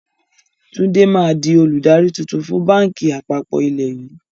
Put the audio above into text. Tunji máa di olùdarí tuntun fun báńkì àpapọ̀ ilẹ̀ yii